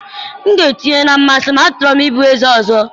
m ga-etinye na mmasị m, a chọrọ m ịbụ eze ọzọ.